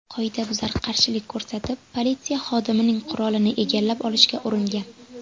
Qoidabuzar qarshilik ko‘rsatib, politsiya xodimining qurolini egallab olishga uringan.